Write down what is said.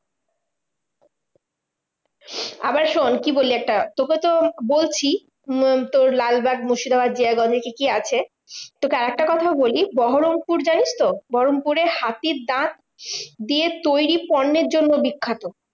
আবার শোন্ কি বলি একটা? তোকে তো বলছি, উম তোর লালবাগ মুর্শিদাবাদ জিয়াগঞ্জে কি কি আছে? তোকে আরেকটা কোথাও বলি, বহরমপুর জানিস তো? বহরমপুরে হাতির দাঁত দিয়ে তৈরী পণ্যের জন্য বিখ্যাত।